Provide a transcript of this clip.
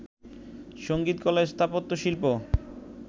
সঙ্গীতকলা স্থাপত্যশিল্প